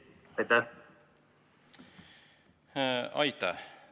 Aitäh!